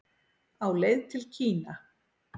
Á leið til Kína